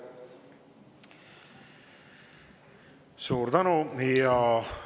Suur tänu!